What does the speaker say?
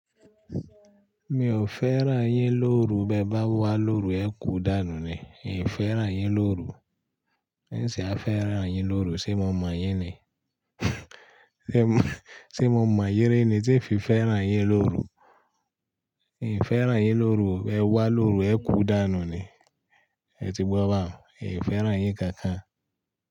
Mi ò fẹ́ ràn yín lóru, bẹ bá wá lóru ẹ kú dànù ni. Mi fẹ́ràn yín lóru. Ǹ sé a fẹ́ràn yín lóru, sé mo mọ yín ni? Sé mo mọ yin ri ni tí fi fẹ́ràn yín lóru. Èmi fẹ́ rà yín lóru, ẹ wá lóru ẹ kú dànù ni. Ẹ ti gbọ́ bá mi, mi fẹ́ràn yín kankan.